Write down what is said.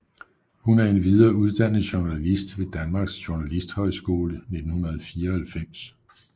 Hun er endvidere uddannet journalist ved Danmarks Journalisthøjskole 1994